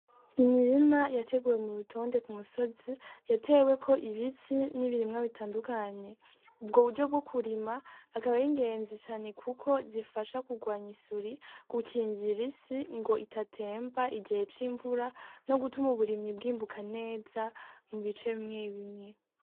Imirima yateguwe mu rutonde ku musozi yateweko ibiti n'ibirimwa bitandukanye ubwo buryo bwo kurima akaba ari ingenzi cane kuko zifasha kurwanya isuri gukingira isi idatemba mu gihe c'imvura no gutuma uburimyi bwimbuka neza mu bice bimwebimwe.